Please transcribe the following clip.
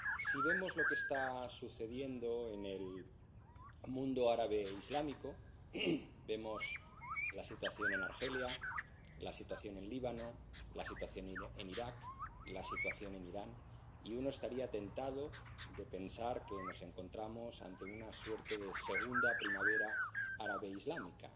Si vemos lo que está sucediendo en el mundo árabe islámico —vemos la situación en Argelia, la situación en el Líbano, la situación en Irak, la situación en Irán—, uno estaría tentado de pensar que nos encontramos ante una suerte de segunda primavera árabe islámica.